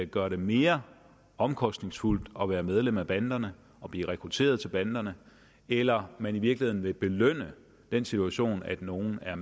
gøre det mere omkostningsfuldt at være medlem af banderne og blive rekrutteret til banderne eller man i virkeligheden vil belønne den situation at nogle er